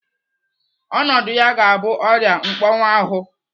Ọnọdụ ya ga-abụ ọrịa mkpọnwuahu.